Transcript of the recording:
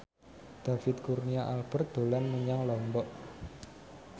David Kurnia Albert dolan menyang Lombok